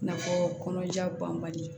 I n'a fɔ kɔnɔja banbali